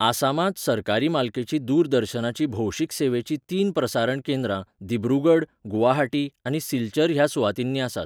आसामांत सरकारी मालकेचीं दूरदर्शनाचीं भौशीक सेवेचीं तीन प्रसारण केंद्रां दिब्रुगड, गुवाहाटी आनी सिलचर ह्या सुवातींनी आसात.